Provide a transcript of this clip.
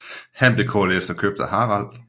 Han blev kort efter købt af Harald